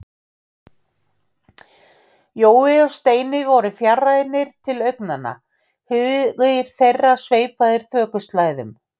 Jói og Steini voru fjarrænir til augnanna, hugir þeirra sveipaðir þokuslæðum.